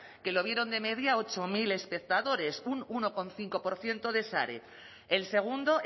que lo vieron de media ocho mil espectadores un uno coma cinco por ciento de share el segundo